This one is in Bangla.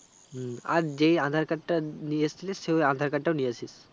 হম আর যেই aadhar card টা নিয়ে এসেছিলিস সেই aadhar card টাও নিয়ে আসিস